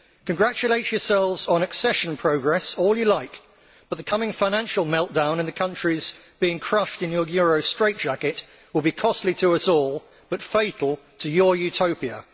Congratulate yourselves on accession progress all you like, but the coming financial meltdown in the countries being crushed in your Euro straightjacket will be costly to us all, but fatal to your Utopia.